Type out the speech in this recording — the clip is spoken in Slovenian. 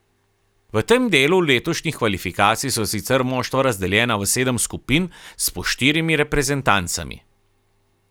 V tem delu letošnjih kvalifikacij so sicer moštva razdeljena v sedem skupin s po štirimi reprezentancami.